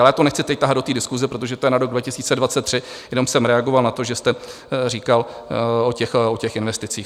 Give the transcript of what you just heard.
Ale já to nechci teď tahat do té diskuse, protože to je na rok 2023, jenom jsem reagoval na to, že jste říkal o těch investicích.